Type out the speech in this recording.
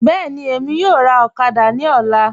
Bẹẹni, Emi yọ̀ọ̀ rà okada ni ọ̀là